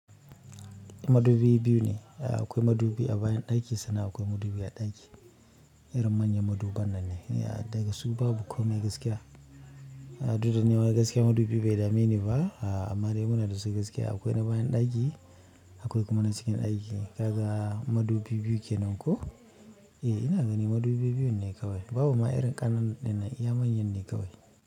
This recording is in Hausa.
Madubi biyu ne, akwai madubi a bayan ɗaki sannan akwai madubi a ɗaki. Irin manyan maduban nan ne, a daga su babu komai gaskiya. Dukda nima gaskiya madubi bai dameni ba, amma dai muna da su gaskiya. Akwai na bayan daki akwai kuma na cikin daki. Kaga madubi biyu kenan ko? E ina gani madubi biyun ne kawai. Babu ma irin ƙananan na iya manyan ne kawai.